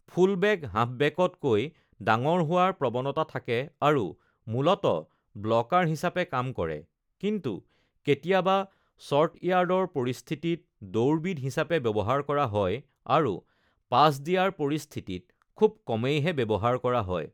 Full-back হাফবেকতকৈ ডাঙৰ হোৱাৰ প্ৰৱণতা থাকে আৰু মূলতঃ ব্লকাৰ হিচাপে কাম কৰে, কিন্তু কেতিয়াবা ছৰ্ট-য়াৰ্ডৰ পৰিস্থিতিত দৌৰবিদ হিচাপে ব্যৱহাৰ কৰা হয় আৰু পাছ দিয়াৰ পৰিস্থিতিত খুব কমেইহে ব্যৱহাৰ কৰা হয়।